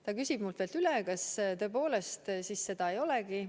Ta küsis minult veel üle, kas tõepoolest siis seda ei olegi.